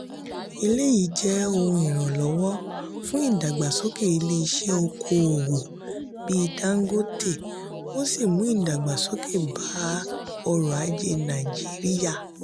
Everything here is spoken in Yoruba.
eléyìí jẹ́ ohun ìrànlọ́wọ́ fún ìdàgbàsókè ilé ìṣe oko-òwò bí dangote ó sì mú ìdàgbàsókè bá ọ̀rọ̀-aje naijiriya.